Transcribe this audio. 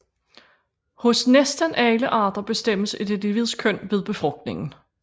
Hos næsten alle arter bestemmes et individs køn ved befrugtningen